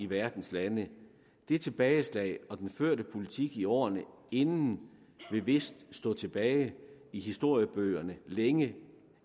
verdens lande dét tilbageslag og den førte politik i årene inden vil vist stå tilbage i historiebøgerne længe